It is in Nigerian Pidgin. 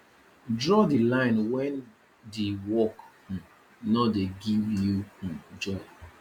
draw di line when di work um no de give you um joy